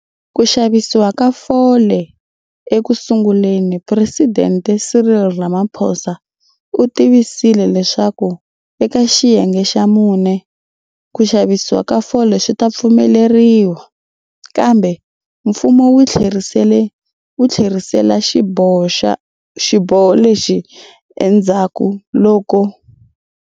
Ku xavisiwa ka fole Eku sunguleni Phuresidente Cyril Ramaphosa u tivisile leswaku eka Xiyenge xa Mune, ku xavisiwa ka fole swi ta pfumeleriwa, kambe mfumo wu tlherisela xiboho lexi endzhaku loko.